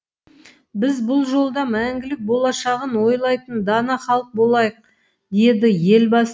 біз бұл жолда мәңгілік болашағын ойлайтын дана халық болайық деді елбасы